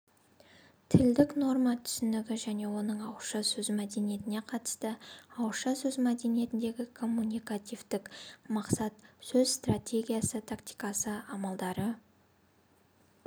тілдік норма түсінігі және оның ауызша сөз мәдениетіне қатысы ауызша сөз мәдениетіндегі коммуникативтік мақсат сөз стратегиясы тактикасы амалдары